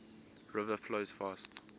river flows fast